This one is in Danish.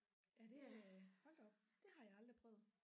Ja det øh hold da op det har jeg aldrig prøvet